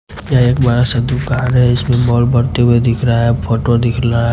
यह एक बड़ा सा दुकान है इसमें बाल बढ़ते हुए दिख रहा है फोटो दिख लहा --